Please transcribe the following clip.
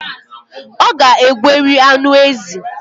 Ọ ga-egweri anụ ezi